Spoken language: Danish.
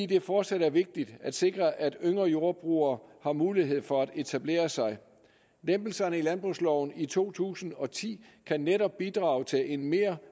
det fortsat er vigtigt at sikre at yngre jordbrugere har mulighed for at etablere sig lempelserne i landbrugsloven i to tusind og ti kan netop bidrage til en mere